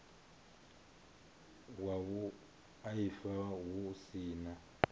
wa vhuaifa hu si na